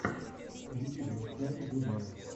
в ютьюбе установи гудмэна